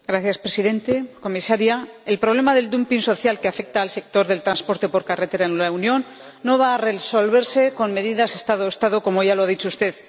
Señor Presidente, señora Comisaria, el problema del dumping social que afecta al sector del transporte por carretera en la Unión no va a resolverse con medidas Estado Estado, como ya lo ha dicho usted.